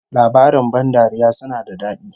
Labarin ban dariya suna da dadi